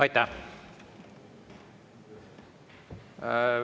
Aitäh!